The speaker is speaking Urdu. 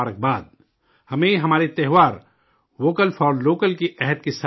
ہمیں، ہمارے تہوار ووکل فار لوکل کے عہد کے ساتھ ہی منانے ہیں